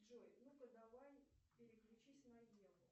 джой ну ка давай переключись на еву